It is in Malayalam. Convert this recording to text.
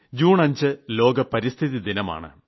ജൂൺ 5 ലോക പരിസ്ഥിതി ദിനമാണ്